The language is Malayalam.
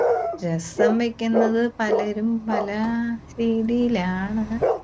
രസം വെക്കുന്നത് പലരും പല രീതിയിലാണ്.